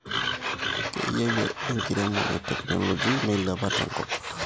keyau enkiremore technology meilepa tenkop